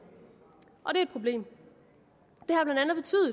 og det er et problem